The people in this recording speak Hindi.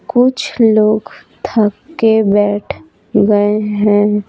कुछ लोग थक के बैठ गए हैं।